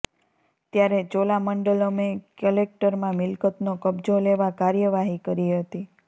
ત્યારે ચોલામંડલમે કલેક્ટરમાં મિલ્કતનો કબ્જો લેવા કાર્યવાહી કરી હતી